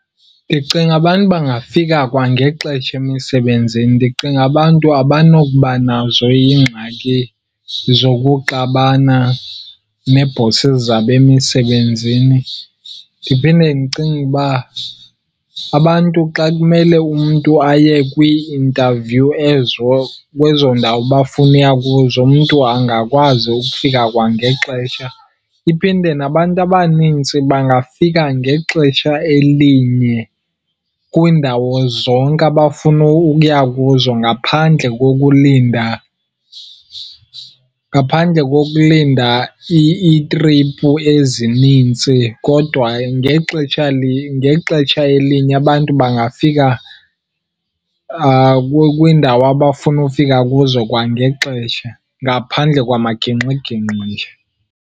Ndicinga abantu bangafika kwangexesha emisebenzini. Ndicinga abantu abanokuba nazo iingxaki zokuxabana nee-bosses zabo emisebenzini. Ndiphinde ndicinge uba abantu xa kumele umntu aye kwii-interview ezo kwezo ndawo bafuna ukuya kuzo, umntu angakwazi ukufika kwangexesha. Iphinde nabantu abanintsi bangafika ngexetsha elinye kwiindawo zonke abafuna ukuya kuzo ngaphandle kokulinda, ngaphandle kokulinda iitriphu ezinintsi. Kodwa ngexetsha , ngexetsha elinye abantu bangafika kwiindawo abafuna ufika kuzo kwangexesha ngaphandle kwamagingxigingxi.